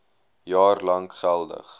jaar lank geldig